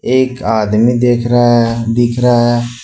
एक आदमी देख रहा है दिख रहा है।